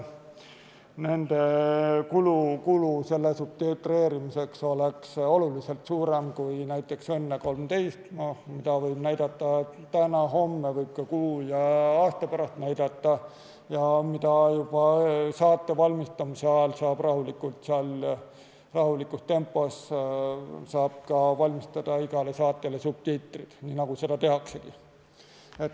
Selle subtitreerimise kulu oleks oluliselt suurem kui näiteks "Õnne 13-l", mida võib näidata täna, homme või ka kuu ja aasta pärast, juba saate valmistamise ajal saab rahulikus tempos valmistada igale saatele subtiitrid, nii nagu seda tehaksegi.